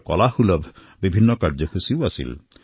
কলা কৰ্ম নিৰ্মাণ হল